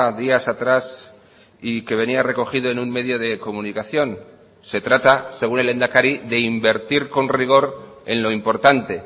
días atrás y que venía recogido en un medio de comunicación se trata según el lehendakari de invertir con rigor en lo importante